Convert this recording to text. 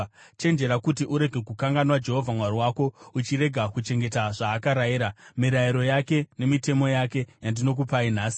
chenjera kuti urege kukanganwa Jehovha Mwari wako uchirega kuchengeta zvaakarayira, mirayiro yake nemitemo yake yandinokupai nhasi.